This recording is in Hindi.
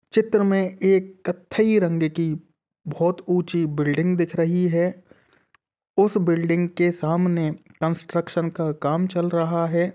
चित्र में एक कत्थई रंग की बहुत ऊंची बिल्डिंग दिख रही है उस बिल्डिंग के सामने कंस्ट्रक्शन का काम चल रहा है।